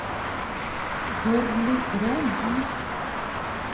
Gurli Broman